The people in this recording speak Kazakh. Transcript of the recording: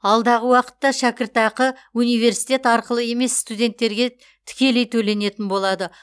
алдағы уақытта шәкіртақы университет арқылы емес студенттерге тікелей төленетін болады